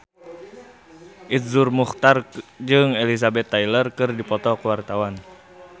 Iszur Muchtar jeung Elizabeth Taylor keur dipoto ku wartawan